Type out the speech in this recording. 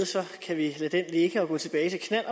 kan vi lade den ligge og gå tilbage til